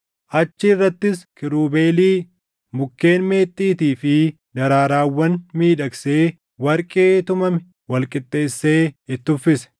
Achi irrattis kiirubeelii, mukkeen meexxiitii fi daraarawwan miidhagsee warqee tumame wal qixxeessee itti uffise.